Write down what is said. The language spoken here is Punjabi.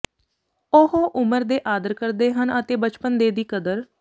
ਉਹ ਉਮਰ ਦੇ ਆਦਰ ਕਰਦੇ ਹਨ ਅਤੇ ਬਚਪਨ ਦੇ ਦੀ ਕਦਰ